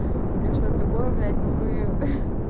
или что-то такое блять ну мы